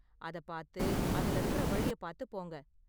அத பாத்து அதுல இருக்கற வழிய பாத்து போங்க